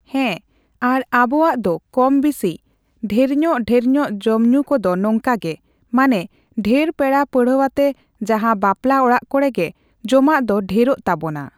ᱦᱮᱸ ᱟᱨ ᱟᱵᱚᱣᱟᱜ ᱫᱚ ᱠᱚᱢ ᱵᱤᱥᱤ ᱫᱷᱮᱨᱧᱚᱜᱼᱫᱷᱮᱨᱧᱚᱜ ᱡᱚᱢᱼᱧᱩ ᱠᱚᱫᱚ ᱱᱚᱝᱠᱟ ᱜᱮ ᱾ᱢᱟᱱᱮ ᱰᱷᱮᱨ ᱯᱮᱲᱟ ᱯᱟᱺᱬᱦᱟᱹᱣᱟᱛᱮ ᱡᱟᱦᱟᱸ ᱵᱟᱯᱞᱟ ᱚᱲᱟᱜ ᱠᱚᱨᱮ ᱜᱮ ᱡᱚᱢᱟᱜ ᱫᱚ ᱰᱷᱮᱨᱚᱜ ᱛᱟᱵᱚᱱᱟ᱾